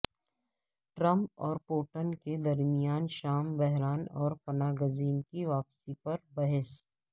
Trump اور Putin کے درمیان شام بحران اور پناہ گزین کی واپسی پر بحث